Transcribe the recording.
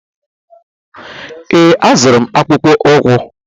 Ee, azụrụ m akpụkpọ ụkwụ!